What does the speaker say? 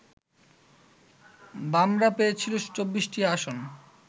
বামরা পেয়েছিল ২৪টি আসন